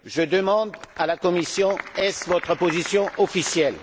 Je demande à la Commission est ce votre position officielle?